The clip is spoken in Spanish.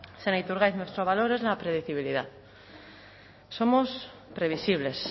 señor iturgaiz nuestro valor es la predecibilidad somos previsibles